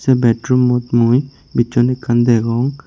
ei bedroommot mui bicchon ekkan degong.